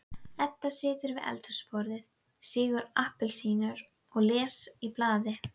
Edda situr við eldhúsborðið, sýgur appelsínu og les í blaði.